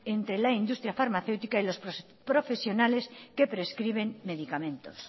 entre la industria farmacéutica y los profesionales que prescriben medicamentos